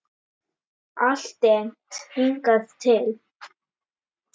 Alltént hingað til.